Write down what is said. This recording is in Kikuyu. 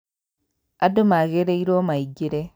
Andũ magĩrĩirwo maingĩre